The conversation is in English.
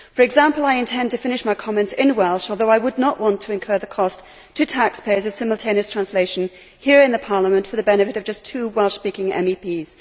For example, I intend to finish my comments in Welsh although I would not want to incur the cost to taxpayers of simultaneous translation here in Parliament for the benefit of just two Welsh speaking MEPs.